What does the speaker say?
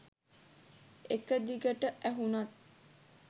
එක දිගට ඇහුණත්